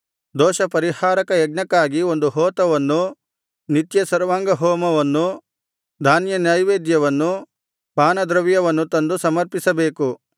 ದೋಷಪರಿಹಾರಕ ಯಜ್ಞಕ್ಕಾಗಿ ಒಂದು ಹೋತವನ್ನೂ ನಿತ್ಯ ಸರ್ವಾಂಗಹೋಮವನ್ನು ಧಾನ್ಯನೈವೇದ್ಯವನ್ನು ಪಾನದ್ರವ್ಯವನ್ನು ತಂದು ಸಮರ್ಪಿಸಬೇಕು